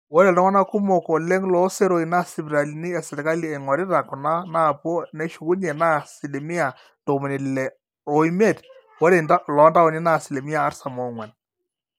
ore iltung'anak kumok oleng loo seroi naa sipitalini esirkali eing'orita kuna naapuo neshukunye naa asilimia ntomoni ile oimiet ore iloontaoni naa asilimia artam oong'wan